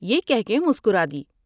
یہ کہہ کے مسکرادی ۔